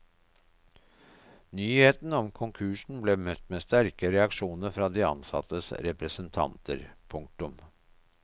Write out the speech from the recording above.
Nyheten om konkursen ble møtt med sterke reaksjoner fra de ansattes representanter. punktum